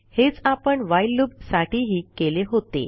हेच आपण while loop साठीही केले होते